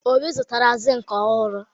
Obi zụtara zinc ọhụrụ.